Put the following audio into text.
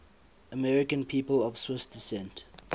american people of swiss descent